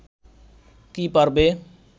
কি পারবে